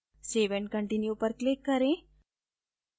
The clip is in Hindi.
save and continue पर click करें